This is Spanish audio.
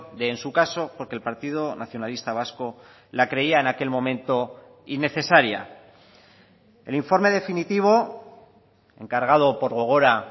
de en su caso porque el partido nacionalista vasco la creía en aquel momento innecesaria el informe definitivo encargado por gogora